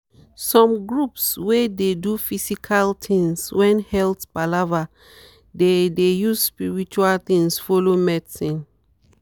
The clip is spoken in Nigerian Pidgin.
some groups wey dey do physical things when health palava dey dey use spiritual thing follow medicine